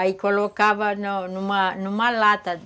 Aí colocava numa numa numa lata.